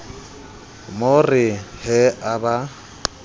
mo re he a ba